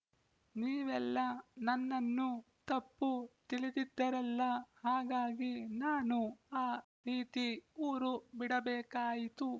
ನೀವೆಲ್ಲ ನನ್ನನ್ನು ತಪ್ಪು ತಿಳಿದಿದ್ದರಲ್ಲ ಹಾಗಾಗಿ ನಾನು ಆ ರೀತಿ ಊರು ಬಿಡಬೇಕಾಯಿತು